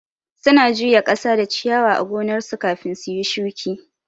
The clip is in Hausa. Su na juya kasa da ciyawa a gonnar su kafin suyi shuki